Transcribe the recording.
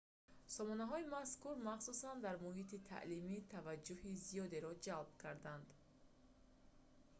сомонаҳои мазкур махсусан дар муҳити таълимӣ таваҷҷӯҳи зиёдеро ҷалб карданд